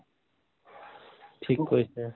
ঠিক কৈছে